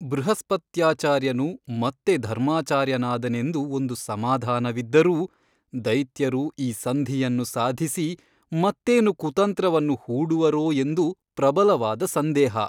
ಬೃಹಸ್ಪತ್ಯಾಚಾರ್ಯನು ಮತ್ತೆ ಧರ್ಮಾಚಾರ್ಯ ನಾದನೆಂದು ಒಂದು ಸಮಾಧಾನವಿದ್ದರೂ ದೈತ್ಯರು ಈ ಸಂಧಿಯನ್ನು ಸಾಧಿಸಿ ಮತ್ತೇನು ಕುತಂತ್ರವನ್ನು ಹೂಡುವರೋ ಎಂದು ಪ್ರಬಲವಾದ ಸಂದೇಹ.